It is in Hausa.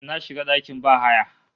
Na shiga dakin bahaya